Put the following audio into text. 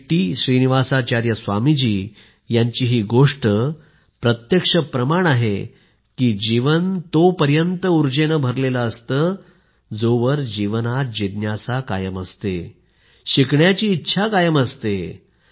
Shri T Srinivasacharya Swami ji यांचं जीवन या गोष्टीचं प्रत्यक्ष उदाहरण आहे की जीवन तोपर्यंत ऊर्जेने भरलेलं असतं जोवर जीवनात जिज्ञासा कायम असते शिकण्याची इच्छा कायम असते